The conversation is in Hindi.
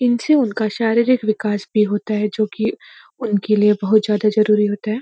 इनसे उनका शारीरिक विकास भी होता है जो कि उनके लिए बहुत ज़्यादा ज़रूरी होता है।